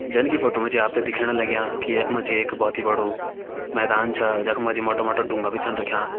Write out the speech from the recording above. जन की फोटो मा जी आप तें दिखेण लग्यां कि यख मा जी एक बहोत ही बड़ु मैदान छा जख मा जी मोटा मोटा ढुंगा भी छन रख्यां।